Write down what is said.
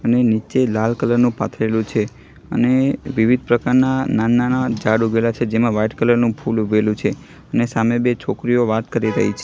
અને નીચે લાલ કલર નુ પાથરેલું છે અને વિવિધ પ્રકારના નાના નાના ઝાડ ઉઘેલા છે જેમા વ્હાઈટ કલર નુ ફૂલ ઊઘેલુ છે ને સામે બે છોકરીઓ વાત કરી રહી છ--